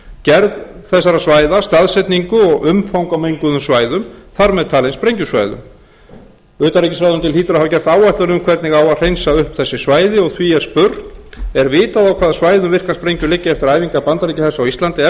gerð þessara svæða staðsetningu og umfang á menguðum svæðum þar með talið sprengjusvæðum utanríkisráðuneytið hlýtur að hafa gert áætlun um hvernig á að hreinsa upp þessi svæði og því er spurt er vitað á hvaða svæðum virkar sprengjur liggja eftir æfingar bandaríkjahers á íslandi ef